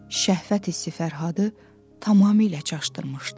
Şəhvət hissi Fərhadı tamamilə çaşdırmışdı.